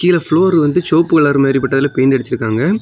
கீழ ப்ளோர் வந்து சிவொப்பு கலர் மாறி போட்டு அதுல பெயிண்ட் அடிச்சுருக்காங்க.